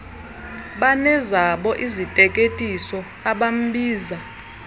banezabo iziteketiso abambiza